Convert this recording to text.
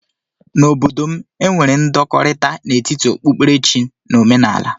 N'obodo m, e nwere ndọkọrita n'etiti okpukpere chi na ọmenaala.